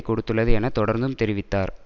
கொடுத்துள்ளது என தொடர்ந்தும் தெரிவித்தார்